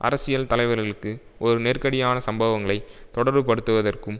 அரசியல் தலைவர்களுக்கு ஒரு நெருக்கடியான சம்பவங்களை தொடர்புபடுத்துவதற்கும்